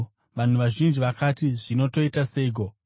Vanhu vazhinji vakati, “Zvino toita seiko?”